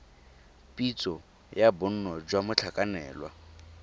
pitso ya bonno jwa motlhakanelwa